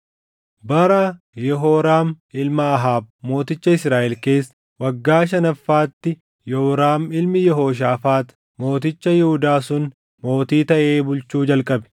Bara Yehooraam ilma Ahaab mooticha Israaʼel keessa waggaa shanaffaatti Yooraam ilmi Yehooshaafaax mooticha Yihuudaa sun mootii taʼee bulchuu jalqabe.